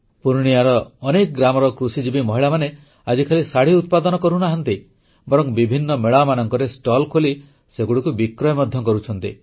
ପୂର୍ଣ୍ଣିୟାର ଅନେକ ଗ୍ରାମର କୃଷିଜୀବି ମହିଳାମାନେ ଆଜି ଖାଲି ଶାଢ଼ି ଉତ୍ପାଦନ କରୁନାହାଁନ୍ତି ବରଂ ବିଭିନ୍ନ ମେଳାମାନଙ୍କରେ ଷ୍ଟଲ୍ ଖୋଲି ସେଗୁଡ଼ିକୁ ବିକ୍ରୟ ମଧ୍ୟ କରୁଛନ୍ତି